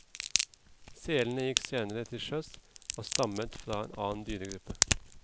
Selene gikk senere til sjøs, og stammer fra en annen dyregruppe.